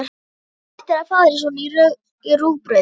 Þú ættir að fá þér svona í rúgbrauðið!